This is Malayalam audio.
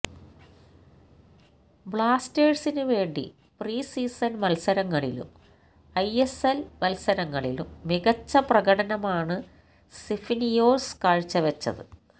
ബ്ലാസ്റ്റേഴ്സിന് വേണ്ടി പ്രീ സീസൺ മത്സരങ്ങളിലും ഐ എസ് എൽ മത്സരങ്ങളിലും മികച്ച പ്രകടനമാണ് സിഫ്നിയോസ് കാഴ്ച്ച വെച്ചത്